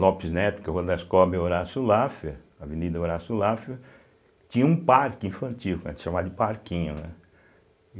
Lopes Neto, Horácio Lafer, Avenida Horácio Lafer, tinha um parque infantil, que a gente chamava de parquinho, né.